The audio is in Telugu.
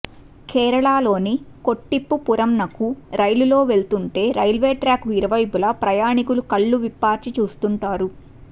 కేరళలోని కొట్టిప్పురంనకు రైలులో వెళుతుంటే రైల్వే ట్రాక్కు ఇరువైపులా ప్రయాణీకులు కళ్లు విప్పార్చి చూస్తుంటారు